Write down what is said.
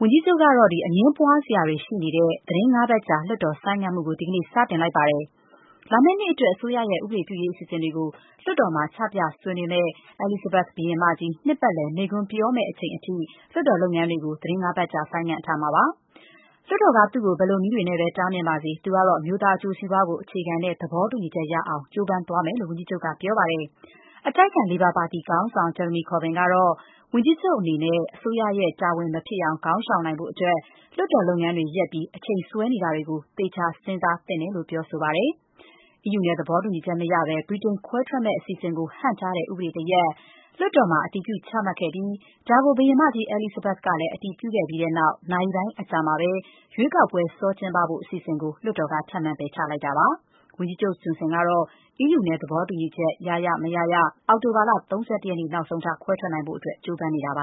ဝန်ကြီးချုပ်ကတော့ အငြင်းပွားစရာတွေရှိနေတဲ့ သီတင်း ၅ ပတ်ကြာ လွှတ်တော် ဆိုင်းငံ့မှုကို ဒီကနေ့ စတင်လိုက်ပါတယ်။ လာမယ့်နှစ်အတွက် အစိုးရရဲ့ ဥပဒေပြုရေးအစီအစဉ်တွေကို လွှတ်တော်မှာ ချပြဆွေးနွေးမယ့် အဲလိဇဘက်က် ဘုရင်မကြီး နှစ်ပတ်လည်မိန့်ခွန်းပြောမယ့်အချိန်အထိ လွှတ်တော်လုပ်ငန်းတွေကို သီတင်း ၅ ပတ်ကြာ ရပ်ဆိုင်းထားမှာပါ။ လွှတ်တော်က သူ့ကို ဘယ်လိုနည်းတွေနဲ့ပဲ တားမြစ်ပါစေ သူကတော့ အမျိုးသားအကျိုးစီးပွားကို အခြေခံတဲ့ သဘောတူညီချက်ရအောင် ကြိုးစားသွားမယ်လို့ ဝန်ကြီးချုပ်က ပြောပါတယ်။ အတိုက်အခံ လေဘာပါတီ ခေါင်းဆောင် Jeremy Corbyn ကတော့ ဝန်ကြီးချုပ် အနေနဲ့ အစိုးရရဲ့တာဝန်မဖြစ်အောင် ခေါင်းရှောင်နိုင်ဖို့အတွက် လွှတ်တော်လုပ်ငန်းတွေ ရပ်ပြီး အချိန်ဆွဲနေတာတွေကို သေချာ စဉ်းစားသင့်တယ်လို့ ပြောဆိုပါတယ်။ အီးယူနဲ့သဘောတူညီချက်မရဘဲ ဗြိတိန်ခွဲထွက်မယ့်အစီအစဉ်ကို ဟန့်တားတဲ့ ဥပဒေတရပ် လွှတ်တော်မှာအတည်ပြု ချမှတ်ခဲ့ပြီး ဒါကို ဘုရင်မကြီး အဲလိစ်ဇဘက် ကလည်း အတည်ပြုခဲ့ပြီးတဲ့နောက် နာရီပိုင်းအကြာမှာပဲ ရွေးကောက်ပွဲတွေ စောကျင်းပဖို့ အစီအစဉ်ကို လွှတ်တော်က ထပ်မံ ပယ်ချလိုက်တာဖြစ်ပါတယ်။ ဝန်ကြီးချုပ် ဂျွန်ဆင်ကတော့ အီးယူနဲ့ သဘောတူညီချက် ရရ မရရ အောက်တိုဘာလ ၃၁ ရက်နေ့ နောက်ဆုံးထား ခွဲထွက်နိုင်ရေး ကြိုးပမ်းနေတာပါ